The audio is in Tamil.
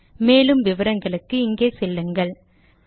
மேற்கொண்டு விவரங்களுக்கு இங்கே செல்லுங்கள் httpspoken tutorialorgNMEICT Intro